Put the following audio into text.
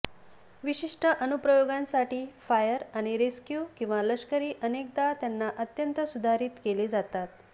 विशिष्ट अनुप्रयोगांसाठी फायर आणि रेस्क्यु किंवा लष्करी अनेकदा त्यांना अत्यंत सुधारित केले जातात